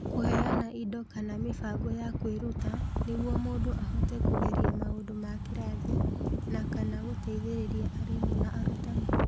Kũheana indo kana mĩbango ya kwĩruta nĩguo mũndũ ahote kũgeria maũndũ ma kĩrathi, na/kana gũteithĩrĩria arimũ na arutani.